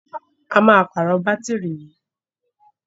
A máa pàrọ̀ bátìrì yìí.